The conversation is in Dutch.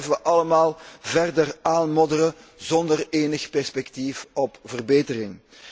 Zo blijven wij allemaal verder aanmodderen zonder enig perspectief op verbetering.